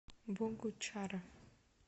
богучара